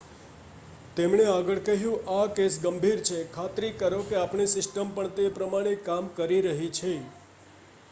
"તેમણે આગળ કહ્યું "આ કેસ ગંભીર છે. ખાતરી કરો કે આપણી સિસ્ટમ પણ તે પ્રમાણે કામ કરી રહી છે.""